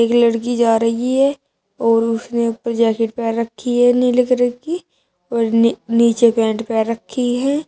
ए लड़की जा रही है और उसने ऊपर जैकेट पेहन रखी है नीले कलर की और नी नीचे पैंट पहन रखी है।